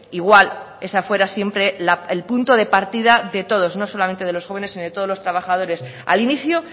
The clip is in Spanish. igual esa fuera siempre el punto de partida de todos no solamente de los jóvenes sino de todos los trabajadores al inicio